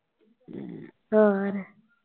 ਹੋਰ।